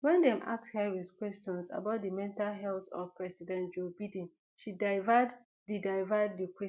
wen dem ask harris questions about di mental health of president joe biden she divert di divert di questions